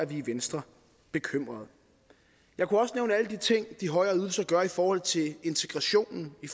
vi i venstre bekymrede jeg kunne også nævne alle de ting de højere ydelser gør i forhold til integrationen i